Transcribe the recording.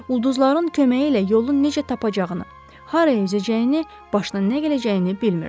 Ulduzların köməyi ilə yolun necə tapacağını, haraya üzəcəyini, başına nə gələcəyini bilmirdi.